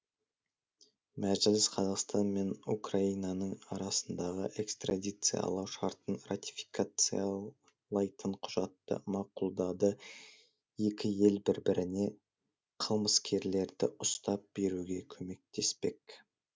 мәжіліс қазақстан мен украинаның арасындағы экстрадициялау шартын ратификациялайтын құжатты мақұлдады екі ел бір біріне қылмыскерлерді ұстап беруге көмектеспек